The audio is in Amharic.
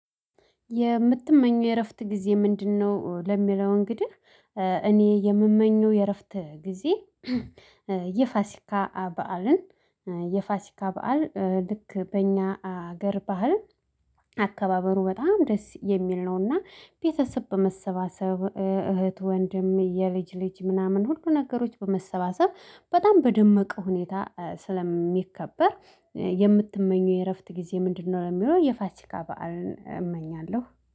የምትመኘው የእረፍት ጊዜ ምንድነው? ለሚለው እንግዲህ እኔ የምመኘው የእረፍት ጊዜ የፋሲካ በዓልን የፋሲካ በዓል ልክ በእኛ ሀገር ባህል። አካባበሩ በጣም ደስ የሚል ነውና ቤተሰብ በመሰባሰብ እህት ወንድም የልጅ ልጅ ምናምን ሁሉ ነገሮች በመሰባሰብ በጣም በደመቀ ሁኔታ ስለሚከበር። የምትመኘው የእረፍት ጊዜ ምንድነው? ለሚለው የፋሲካ በዓልን እመኛለሁ